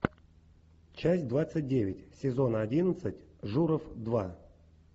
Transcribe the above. часть двадцать девять сезона одиннадцать журов два